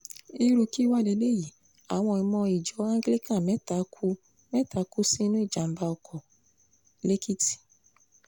irú kí wàá léyìí àwọn ọmọ ìjọ anglican mẹ́ta kú mẹ́ta kú sínú ìjàm̀bá ọkọ̀ lẹ́kìtì